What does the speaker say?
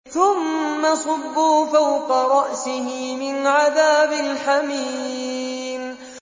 ثُمَّ صُبُّوا فَوْقَ رَأْسِهِ مِنْ عَذَابِ الْحَمِيمِ